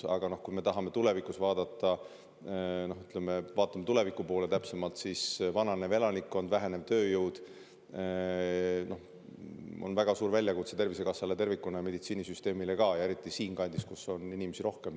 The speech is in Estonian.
Aga kui vaatame tuleviku poole, siis näeme, et meil on vananev elanikkond ja vähenev tööjõud, mis on väga suur väljakutse Tervisekassale ja kogu meditsiinisüsteemile, eriti siinkandis, kus inimesi on rohkem.